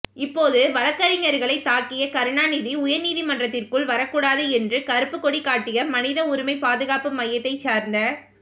இப்போது வழ்க்கறிஞர்களைத் தாக்கிய கருணாநிதி உயர்நீதிமன்றத்திற்குள் வரக்கூடாது என்று கருப்புக் கொடி காட்டிய மனித உரிமை பாதுகாப்பு மையத்தைச் சார்ந்த